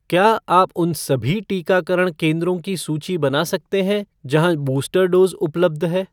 क्या आप उन सभी टीकाकरण केंद्रों की सूची बना सकते हैं जहाँ बूस्टर डोज़ उपलब्ध है ?